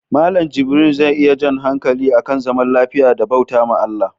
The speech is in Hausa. Mallan jibrin zai yi jan hankali akan zaman lafiya da bautawa ALLAH